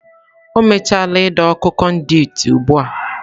O mechaala ido okụ konduiti ugbu a.